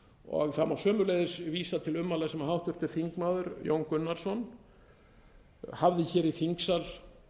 stílbrot það má sömuleiðis vísa til ummæla sem háttvirtur þingmaður jón gunnarsson hafði hér í þingsal